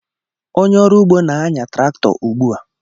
Onye ọrụ ugbo na-anya traktọ ugbu a